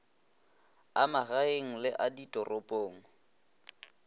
a magaeng le a ditoropong